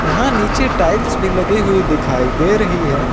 यहां नीचे टाइल्स भी लगे हुए दिखाई दे रही है।